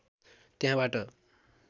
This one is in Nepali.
त्यहाँबाट